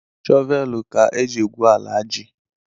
Shọvel ka éjị égwu ala jị